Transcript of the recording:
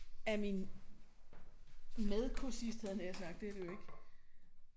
Af min medkursist havde jeg nær sagt det er det jo ikke